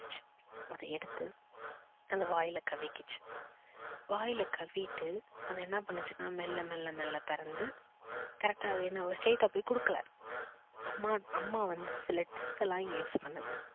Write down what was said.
அத எடுத்து அது வாயில கவ்விகிச்சு. வாயில கவ்விட்டு அது என்ன பண்ணுச்சுன்னா மெல்ல மெல்ல மெல்ல பறந்து correct டா அது straight ட்டா போய் கொடுக்கல அம்மா வந்து சில tricks எல்லாம் இங்க use பண்ணுது